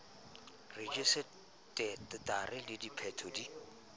rejise tara le sephetho di